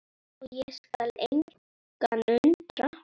og skal engan undra.